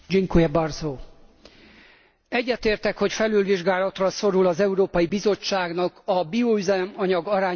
Egyetértek, hogy felülvizsgálatra szorul az Európai Bizottságnak a bioüzemanyag arányát szabályozó irányelve.